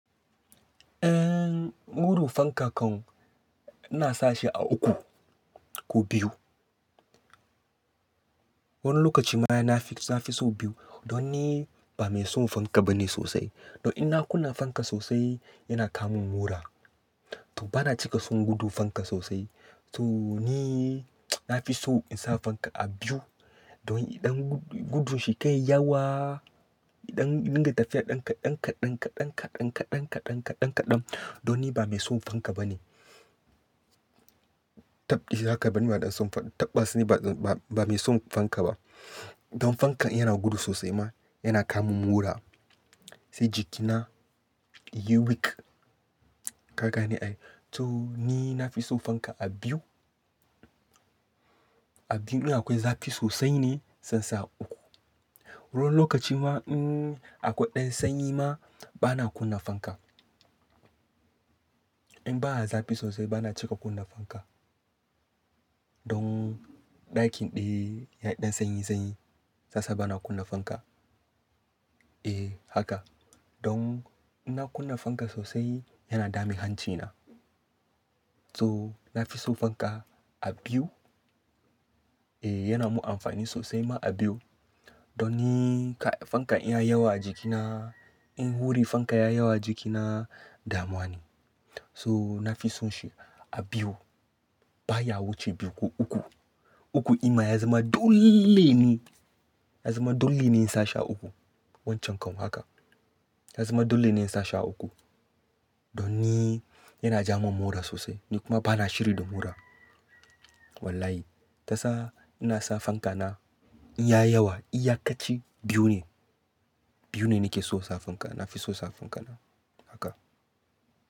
Eh, wurun fanka kan ina sa shi a uku ko biyu. Wani lokaci ma yana nafi, nafi so biyu. Don ni ba mai son fanka ba ne sosai. Don in na kunna fanka sosai yana kawo mun mura. To ba na cika son gudu fanka sosai. So ni nafi so in sa fanka a biyu. Don idan gudun shi kar yi yawa, idan dinga tafiya ɗan kaɗan, kaɗan, kaɗan, kaɗan, kaɗan, kaɗan, kaɗan, kaɗan don ni ba mai son fanka ba ne. Tab, haka ba ni ba don son fanka, tabba sani ba, ba mai son fanka ba. Don fankan in yana gudu sosai ma yana kawo mun mura. Sai jikina ya yi weak Ka gane ne ai. To ni nafi so fanka a biyu. A biyu in akwai zafi sosai ne, zan sa a uku. Wani lokaci ma in akwai ɗan sanyi ma ba na kunna fanka. In ba a zafi sosai ba na cika kunna fanka. Don ɗakin ɗaya ya yi ɗan sanyi sanyi zasa ba na kunna fanka. Eh haka. Don in na kunna fanka sosai yana dame hanci na. To nafi so fanka a biyu. Eh yana mun amfani sosai ma a biyu. Don ni fankan in ya yi yawa a jikina, in huri fankan ya yi yawa a jikina damuwa ne. So nafi son shi a biyu. Ba ya wuce biyu ko uku. Uku ima ya zama dole ne, ya zama dole ne in sa shi a uku. Wancan kan haka. Ya zama dole ne in sa shi a uku. Don ni yana ja man mura sosai. Ni kuma ba na shiri da mura. Wallahi. Tasa ina sa fanka na in ya yi yawa iyakaci biyu ne. Biyu ne nake so fanka. Nafiso sa fanka haka.